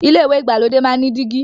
ilé ìwẹ̀ ìgbàlódé máa n ní dígí.